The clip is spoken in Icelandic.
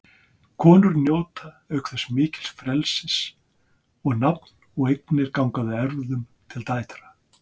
Konur njóta auk þess mikils frelsis og nafn og eignir ganga að erfðum til dætra.